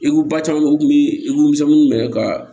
I ko ba caman bɛ yen u tun bɛ i ko misɛnnuw ne yɛrɛ ka